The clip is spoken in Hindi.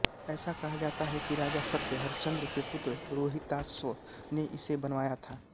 ऐसा कहा जाता है कि राजा सत्य हरिश्चंद्र के पुत्र रोहिताश्व ने इसे बनवाया था